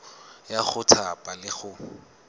ya go thapa le go